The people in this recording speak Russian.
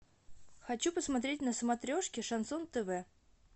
хочу посмотреть на смотрешке шансон тв